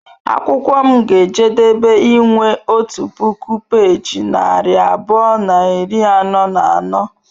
Akwụkwọ m ga-ejedebe inwe otu puku peeji narị abụọ na iri anọ na anọ.